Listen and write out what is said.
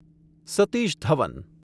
Satish Dhawan